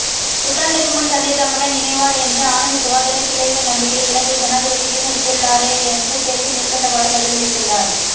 புத்தாண்டுக்கு முன் தந்தை தம்முடன் இணைவார் என்ற ஆனந்தசுதாகரின் பிள்ளைகளின் நம்பிக்கையை இலங்கை ஜனாதிபதி வீணடித்துள்ளராரெயென்ற கேள்விக்கு மேற்கண்டவாறு பதிலளித்துள்ளார்